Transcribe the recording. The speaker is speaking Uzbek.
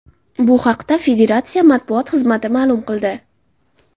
Bu haqda federatsiya matbuot xizmati ma’lum qildi .